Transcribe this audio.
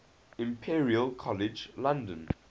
imperial college london